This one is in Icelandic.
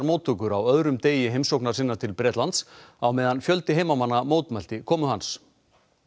móttökur á öðrum degi heimsóknar sinnar til Bretlands á meðan fjöldi heimamanna mótmælti komu hans